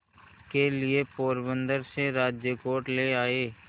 के लिए पोरबंदर से राजकोट ले आए